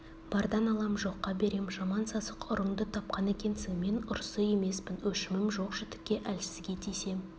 бардан алам жоққа берем жаман сасық ұрыңды тапқан екенсің мен ұрысы емеспін өшімін жоқ-жітікке әлсізге тисем